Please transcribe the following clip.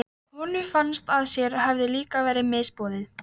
Kastalinn var forn hringlaga bygging með bröttu þaki.